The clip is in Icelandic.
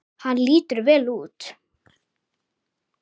Hann lítur vel út.